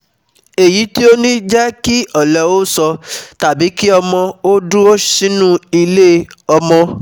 Èyí tí ó ní jẹ́ kí ọ̀lẹ ó sọ um tàbí kí ọmọ ó dúró sínú ilé-ọmọ